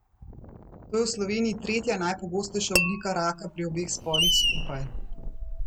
To je v Sloveniji tretja najpogostejša oblika raka pri obeh spolih skupaj.